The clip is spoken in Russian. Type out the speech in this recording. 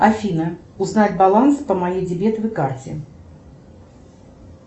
афина узнать баланс по моей дебетовой карте